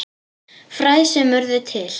Fræ sem urðu til.